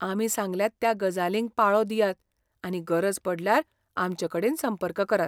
आमी सांगल्यात त्या गजालींक पाळो दियात आनी गरज पडल्यार आमचेकडेन संपर्क करात.